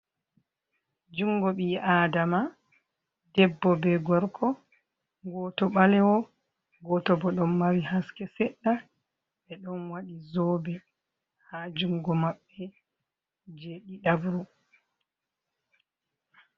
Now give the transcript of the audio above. Jungo bi'i adama, Debbo be gorko goto balewo goto bo don mari haske seɗɗa, ɓeɗon waɗi zobe ha jungo maɓɓe je ɗiɗabru.